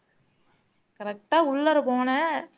correct ஆ உள்ளாற போனேன்